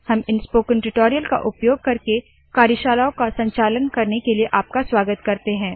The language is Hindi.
हम इन स्पोकन ट्यूटोरियल का उपयोग करके कार्यशालाओं का संचालन करने के लिए आपका स्वागत करते है